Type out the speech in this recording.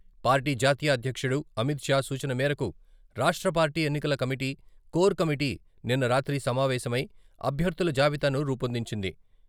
Party జాతీయ అధ్యక్షుడు అమిత్ షా సూచన మేరకు రాష్ట్ర పార్టీ ఎన్నికల కమిటీ, కోర్ కమిటి నిన్న రాత్రి సమావేశమై, అభ్యర్థుల జాబితాను రూపొందించింది.